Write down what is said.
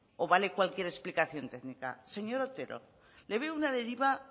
o vale cualquier explicación técnica señor otero le veo una deriva